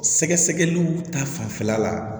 Sɛgɛsɛgɛliw ta fanfɛla la